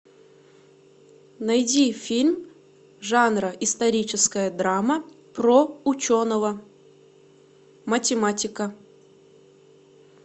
найди фильм жанра историческая драма про ученого математика